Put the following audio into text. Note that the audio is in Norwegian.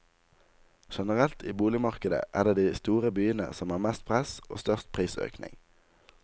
Generelt i boligmarkedet er det de store byene som har mest press og størst prisøkning.